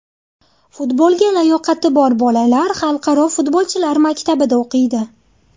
Futbolga layoqati bor bolalar xalqaro futbolchilar maktabida o‘qiydi.